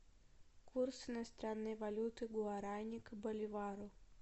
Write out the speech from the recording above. курс иностранной валюты гуарани к боливару